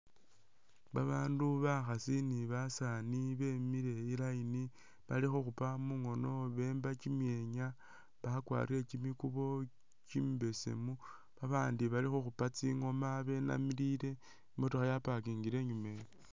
Babandu bakhaasi ni basani wemile i'line bakhukhupa mungono bemba kyimyenya bakwarile kyimikubo kyimibesemu babandi balikhukhupa tsingoma benamilile, i'motokha ya'parkingile inyumeyo